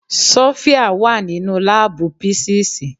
Sofia wà nínú láàbù písíìsì.